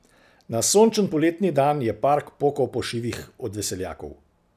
Na sončen poletni dan je park pokal po šivih od veseljakov.